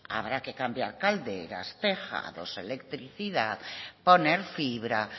habrá que cambiar calderas tejados electricidad poner fibra